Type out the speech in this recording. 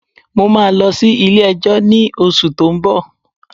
Mo máa lọ sí ilé ẹjọ́ ní oṣù tó ń bọ̀.